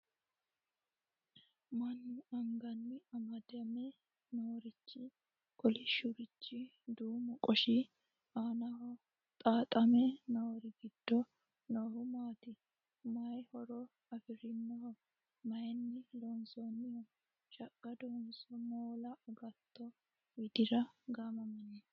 Mannu anganni amadame noorichi kolishshurichi duumu qoshi aanaho xaaxame noori giddo noohu maati? Maay horo afirinoho? maayinni loonsoonniho? Shaqqadonso moola agatto widira gaamamanno?